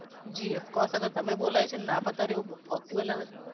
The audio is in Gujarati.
જી of course અગર તમે બોલાવી છે ને ના પધારીયે એવું possible જ નથી.